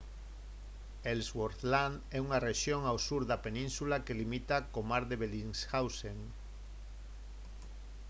ellsworth land é unha rexión ao sur da península que limita co mar de bellingshausen